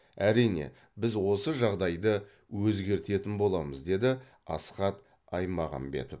әрине біз осы жағдайды өзгертетін боламыз деді асхат аймағамбетов